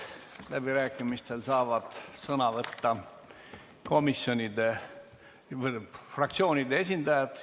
Läbirääkimistel saavad sõna võtta fraktsioonide esindajad.